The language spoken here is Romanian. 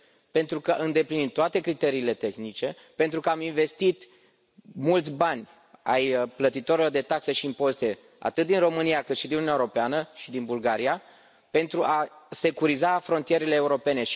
Pentru că îndeplinim toate criteriile tehnice, pentru că am investit mulți bani ai plătitorilor de taxe și impozite atât din România, cât și din Uniunea Europeană și din Bulgaria pentru a securiza frontierele europene.